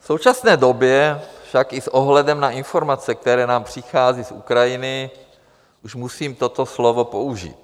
V současné době tak i s ohledem na informace, které nám přichází z Ukrajiny, už musím toto slovo použít.